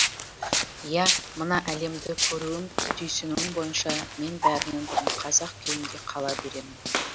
иә мына әлемді көруім түйсінуім бойынша мен бәрінен бұрын қазақ күйімде қала беремін